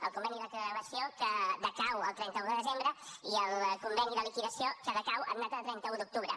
el conveni de gravació que decau el trenta un de desembre i el conveni de liquidació que decau en data de trenta un d’octubre